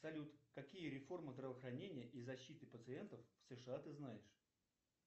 салют какие реформы здравоохранения и защиты пациентов в сша ты знаешь